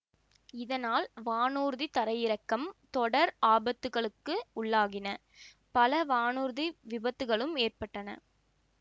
இதனால் வானூர்தி தரையிறக்கம் தொடர் ஆபத்துக்களுக்கு உள்ளாகின பல வானூர்தி விபத்துக்களும் ஏற்பட்டன